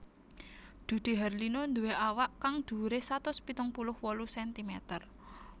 Dude Harlino nduwé awak kang dhuwuré satus pitung puluh wolu sentimeter